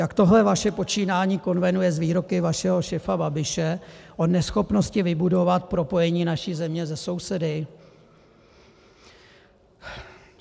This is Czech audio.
Jak tohle vaše počínání konvenuje s výroky vašeho šéfa Babiše o neschopnosti vybudovat propojení naší země se sousedy?